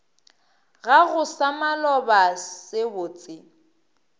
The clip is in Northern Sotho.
gago sa maloba se botse